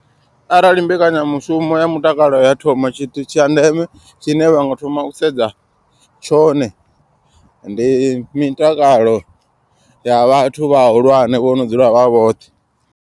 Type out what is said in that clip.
Arali mbekanyamushumo ya mutakalo ya thoma tshithu tsha ndeme tshine vhanga thoma u sedza tshone. Ndi mitakalo ya vhathu vhahulwane vho no dzula vha vhoṱhe.